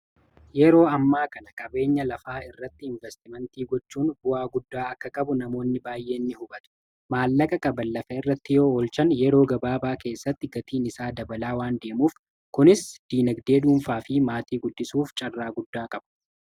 Yeroo ammaa kana qabeenya lafaa irratti ''investimentii'' gochuun bu'aa guddaa akka qabu namoonni baay'een ni hubatu. Maallaqa qaban lafa irratti yoo oolchan yeroo gabaabaa keessatti gatiin isaa dabalaa waan deemuuf kunis dinagdee duunfaa fi maatii guddisuuf carraa guddaa qabu.